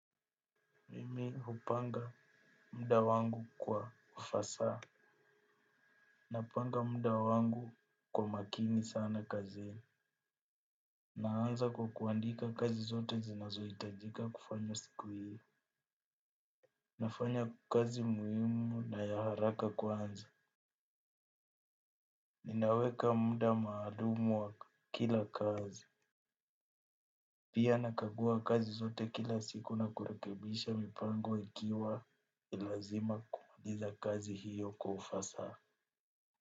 Mimi hupanga muda wangu kwa ufasaha. Napanga muda wangu kwa makini sana kazi. Naanza kwa kuandika kazi zote zinazohitajika kufanya siku hiyo. Nafanya kazi muhimu na ya haraka kwanza. Ninaweka muda maalum wa kila kazi. Pia nakagua kazi zote kila siku na kurekebisha mipango ikiwa ni lazima kumaliza kazi hiyo kwa ufasaha.